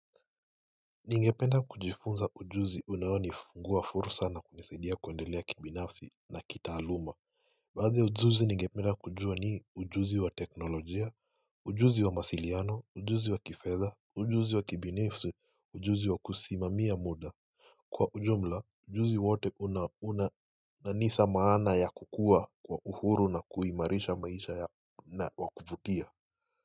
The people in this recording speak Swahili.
Ningependa kujifunza ujuzi unaonifungua fursa na kunisaidia kuendelea kibinafsi na kitaaluma. Basi ujuzi ningependa kujua ni ujuzi wa teknolojia, ujuzi wa masiliano, ujuzi wa kifedha, ujuzi wa kibinafsi, ujuzi wa kusimamia muda Kwa ujumla ujuzi wote unauna na nisa maana ya kukua kwa uhuru na kuimarisha maisha na wa kuvutia.